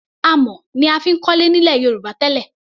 Amọ̀ ni a fi ń kọ́lé nílẹ̀ Yorùbá tẹ́lẹ̀.